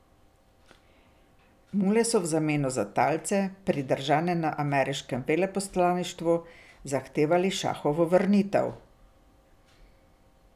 Mule so v zameno za talce, pridržane na ameriškem veleposlaništvu, zahtevali šahovo vrnitev.